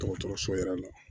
Dɔgɔtɔrɔso yɛrɛ la